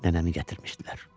Nənəmi gətirmişdilər.